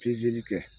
Pezeli kɛ